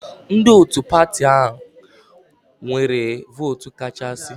Ndị otu pati anyị nwere vootu kachasị.